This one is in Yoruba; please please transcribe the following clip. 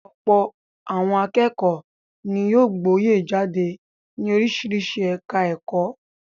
Ọ̀pọ̀ àwọn akẹ́kọ̀ọ́ ni yóò gboyè jáde ní oríṣiríṣi ẹ̀ka-ẹ̀kọ́.